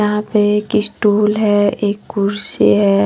यहां पे एक स्टूल है एक कुर्सी है।